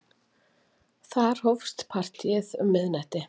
Þar hófst partíið um miðnætti.